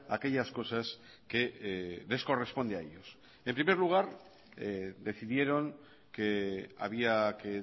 aquellas cosas que les corresponde a ellos en primer lugar decidieron que había que